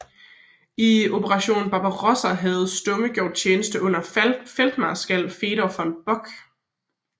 I Operation Barbarossa havde Stumme gjort tjeneste under feltmarskal Fedor von Bock